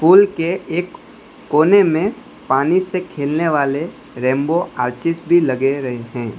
Pool के एक कोने में पानी से खेलने वाले रैंबो आर्चीज भी लगे रहे हैं।